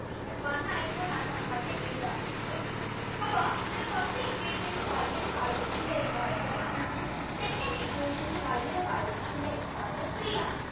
one അതുകൊണ്ടാണ് അതിന് നമ്മൾ എഴുതാത്തത് okay അപ്പോ ഇവിടെ first equation ൽ Y ന്റെ coefficient എന്ന് പറയുന്നത് one ആണ് second equation ൽ Y ന്റെ coefficient എന്ന് പറയുന്നത് three ആണ്